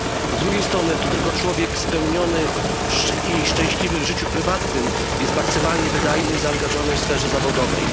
Z drugiej strony tylko człowiek spełniony i szczęśliwy w życiu prywatnym jest maksymalnie wydajny i zaangażowany w sferze zawodowej.